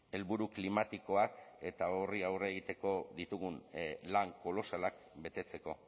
helburu klimatikoak eta horri aurre egiteko ditugun lan kolosalak betetzeko